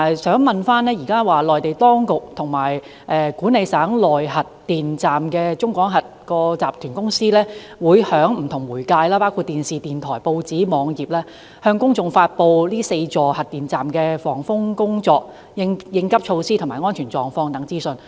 此外，內地當局和管理省內核電站的中國廣核集團有限公司會通過不同媒介，包括電視、電台、報章和網頁向公眾發布4座核電站的防風工作、變急措施及安全狀況等資訊。